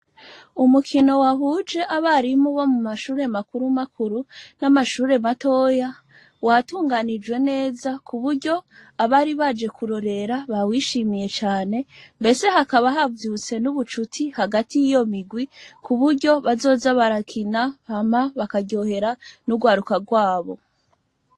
Umukino wahuje abarimu bo mu mashuri makuru makuru n'amashuri matoya watunganijwe neza ku buryo abari baje kurorera bawishimiye cane mbese hakaba havyutse n'ubushuti hagati yiyo mirwi kuburyo bazoza barakina hama bakaryohera n'urwaruka rwabo.